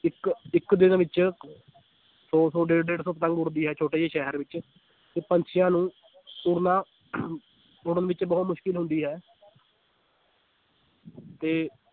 ਇੱਕ ਇੱਕ ਦਿਨ ਵਿੱਚ ਸੌ ਸੌ ਡੇਢ ਡੇਢ ਸੌ ਪਤੰਗ ਉੱਡਦੀ ਹੈ ਛੋਟੇ ਜਿਹੇ ਸ਼ਹਿਰ ਵਿੱਚ ਤੇ ਪੰਛੀਆਂ ਨੂੰ ਉੱਡਣਾ ਉੱਡਣ ਵਿੱਚ ਬਹੁ ਤ ਮੁਸ਼ਕਲ ਹੁੰਦੀ ਹੈ ਤੇ